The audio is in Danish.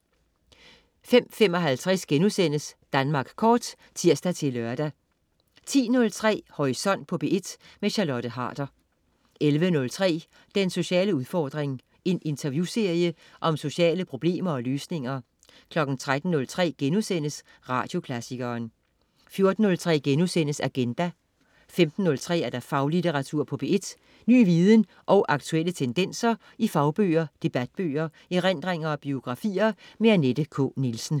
05.55 Danmark Kort* (tirs-lør) 10.03 Horisont på P1. Charlotte Harder 11.03 Den sociale udfordring. En interviewserie om sociale problemer og løsninger 13.03 Radioklassikeren* 14.03 Agenda* 15.03 Faglitteratur på P1. Ny viden og aktuelle tendenser i fagbøger, debatbøger, erindringer og biografier. Annette K. Nielsen